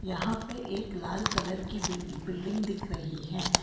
यहां पर एक लाल कलर की बिल बिल्डिंग दिख रही है।